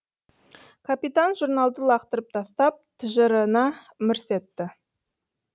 капитан журналды лақтырып тастап тыжырына мырс етті